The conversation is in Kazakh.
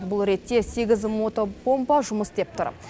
бұл ретте сегіз мотопомпа жұмыс істеп тұр